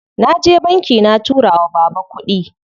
Naje banki na tura wa baba kuɗi.